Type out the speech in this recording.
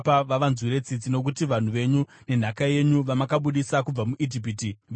nokuti vanhu venyu nenhaka yenyu vamakabudisa kubva muIjipiti, vira romoto.